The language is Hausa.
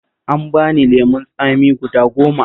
An bani lemon tsami guda goma